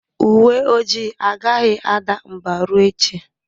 Uwe ojii agaghị ada mbà ruo echi.